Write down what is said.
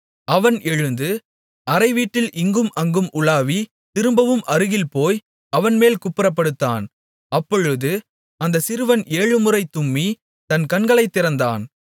அவன் எழுந்து அறைவீட்டில் இங்கும் அங்கும் உலாவி திரும்பவும் அருகில்போய் அவன்மேல் குப்புறப்படுத்தான் அப்பொழுது அந்தச் சிறுவன் ஏழுமுறை தும்மி தன் கண்களைத் திறந்தான்